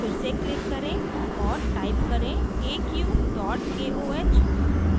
फिर से click करें और type करें aq koh